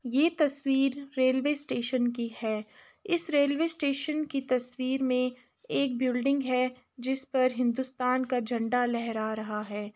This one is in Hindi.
ये तस्वीर रेलवे स्टेशन की है। इस रेलवे स्टेशन की तस्वीर में एक बिल्डिंग है जिस पर हिंदुस्तान का झंडा लहरा रहा है।